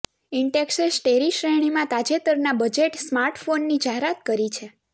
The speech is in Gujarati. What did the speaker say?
ઇન્ટેક્સે સ્ટેરી શ્રેણીમાં તાજેતરના બજેટ સ્માર્ટફોનની જાહેરાત કરી છે